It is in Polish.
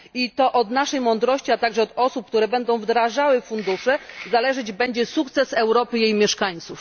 I to od naszej mądrości, a także od osób, które będą wdrażały fundusze, zależeć będzie sukces Europy i jej mieszkańców.